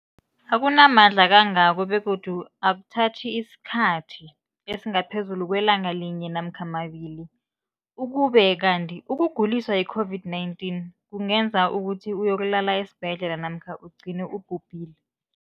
akuna mandla angako begodu akuthathi isikhathi esingaphezulu kwelanga linye namkha mabili, ukube kanti ukuguliswa yi-COVID-19 kungenza ukuthi uyokulala esibhedlela namkha ugcine ubhubhile.